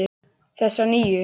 Þessa nýju.